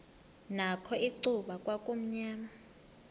nakho icuba kwakumnyama